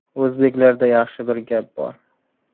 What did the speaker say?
O‘zbeklarda yaxshi bir gap bor.